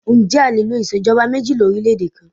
Ǹjẹ́ a lè lo ìṣèjọba méjì lórílèèdè kan?